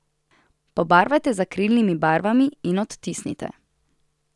Pobarvajte z akrilnimi barvami in odtisnite.